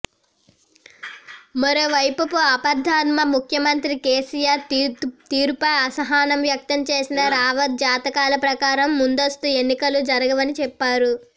మరోవైపపు ఆపద్ధర్మ ముఖ్యమంత్రి కేసీఆర్ తీరుపై అసహనం వ్యక్తం చేసిన రావత్ జాతకాల ప్రకారం ముందస్తు ఎన్నికలు జరగవని చెప్పారు